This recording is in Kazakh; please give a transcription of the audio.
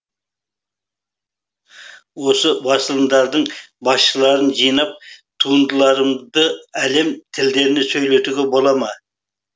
осы басылымдардың басшыларын жинап туындыларымды әлем тілдерінде сөйлетуге бола ма